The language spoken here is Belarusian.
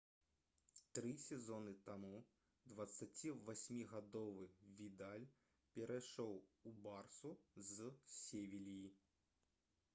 тры сезоны таму 28-гадовы відаль перайшоў у «барсу» з «севільі»